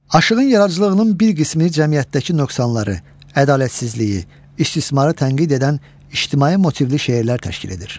Aşığın yaradıcılığının bir qismini cəmiyyətdəki nöqsanları, ədalətsizliyi, istismarı tənqid edən ictimai motivli şeirlər təşkil edir.